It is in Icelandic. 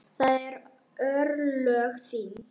Það eru örlög þín.